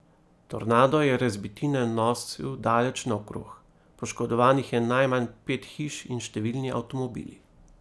Tornado je razbitine nosil daleč naokrog, poškodovanih je najmanj pet hiš in številni avtomobili.